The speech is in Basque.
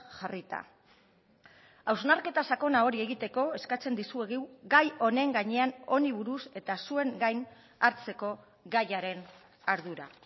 jarrita hausnarketa sakona hori egiteko eskatzen dizuegu gai honen gainean honi buruz eta zuen gain hartzeko gaiaren ardura